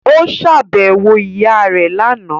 Ó ṣàbẹ̀wò ìyá rẹ̀ lánàá